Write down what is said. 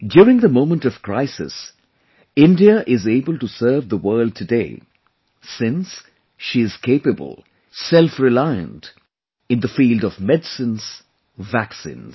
During the moment of crisis, India is able to serve the world today, since she is capable, selfreliant in the field of medicines, vaccines